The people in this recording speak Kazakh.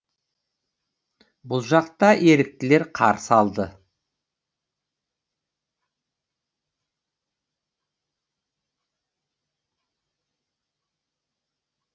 бұл жақта еріктілер қарсы алды